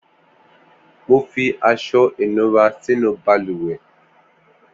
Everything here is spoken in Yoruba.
Mò fi aṣọ inúrà sinú bàlùwẹ̀